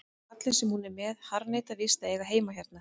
Kallinn sem hún er með harðneitar víst að eiga heima hérna.